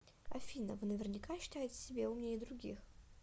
афина вы наверняка считаете себя умнее других